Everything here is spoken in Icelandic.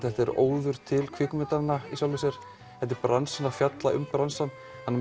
þetta er óður til kvikmyndanna í sjálfu sér þetta er bransinn að fjalla um bransann